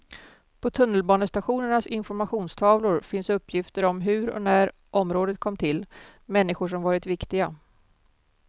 På tunnelbanestationernas informationstavlor finns uppgifter om hur och när området kom till, människor som varit viktiga.